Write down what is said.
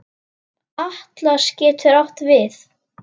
Atlas getur átt við